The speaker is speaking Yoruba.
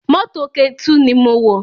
Mọ́tò Ketu ni mo wọ̀